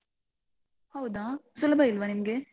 ಹೌದಾ? ಸುಲಭ ಇಲ್ವಾ ನಿಮ್ಗೆ?